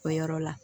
O yɔrɔ la